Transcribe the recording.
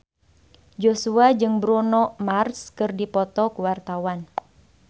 Joshua jeung Bruno Mars keur dipoto ku wartawan